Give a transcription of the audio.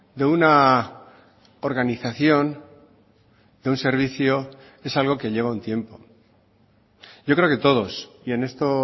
de una organización de un servicio es algo que lleva un tiempo yo creo que todos y en esto